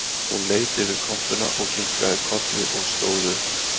Hún leit yfir kompuna og kinkaði kolli og stóð upp